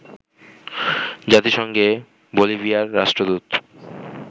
জাতিসংঘে বলিভিয়ার রাষ্ট্রদূত